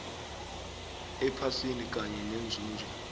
ephasini kanye nenzuzo